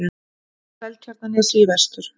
Seltjarnarnesi í vestur.